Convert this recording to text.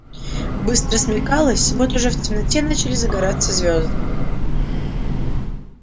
быстро смеркалось вот уже в темноте начали загораться звёзды